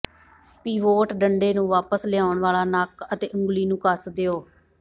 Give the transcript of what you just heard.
pivot ਡੰਡੇ ਨੂੰ ਵਾਪਸ ਲਿਆਉਣ ਵਾਲਾ ਨੱਕ ਅਤੇ ਉਂਗਲੀ ਨੂੰ ਕੱਸ ਦਿਓ